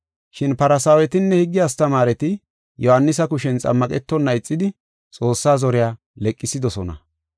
Shin Farsaawetinne higge astamaareti Yohaanisa kushen xammaqetonna ixidi Xoossaa zoriya leqsidosona.